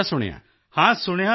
ਤੁਸੀਂ ਵੀ ਅਜਿਹਾ ਸੁਣਿਆ ਹੈ